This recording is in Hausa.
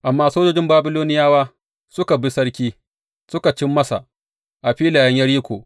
Amma sojojin Babiloniyawa suka bi sarki, suka cin masa a filayen Yeriko.